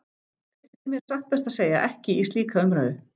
Treysti mér satt best að segja ekki í slíka umræðu.